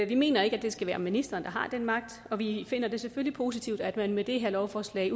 vi mener ikke at det skal være ministeren der har den magt vi finder det selvfølgelig positivt at man med det her lovforslag